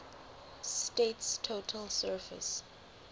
state's total surface